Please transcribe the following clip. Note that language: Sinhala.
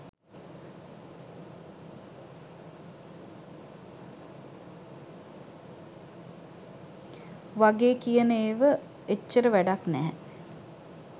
වගේ කියන ඒව එච්චර වැඩක් නෑ.